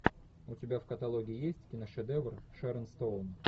у тебя в каталоге есть киношедевр шерон стоун